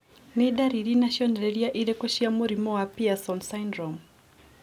Nĩ ndariri na cionereria irĩkũ cia mũrimũ wa Pierson syndrome?